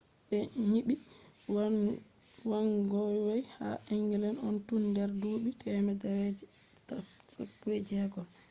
be nyibi wagonways ha england on tun der duubi temere je 16